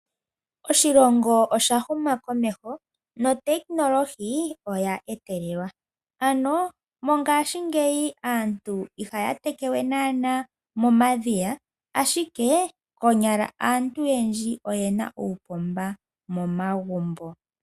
Oshilongo oshahuma komeho notekinolohi oya etelelwa, ano mongashingeyi aantu ihaya teke we nana moomadhiya ashike konyala aantu oyendji oyena uupomba momagumbo.